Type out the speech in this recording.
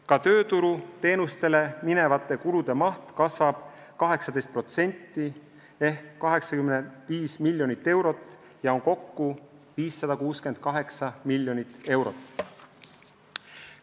Ka tööturuteenuste osutamiseks vajalike kulude maht kasvab 18% ehk 85 miljonit eurot, kokku on see 568 miljonit eurot.